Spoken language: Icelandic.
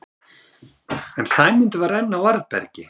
En Sæmundur var enn á varðbergi.